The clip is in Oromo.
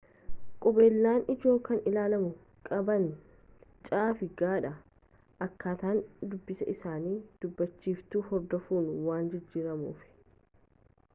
qubeelen ijoo kan ilaalamu qaban c fi g dha akkaataan dubbiin isaanii dubbachiiftuu hordofuun waan jijjiramuufi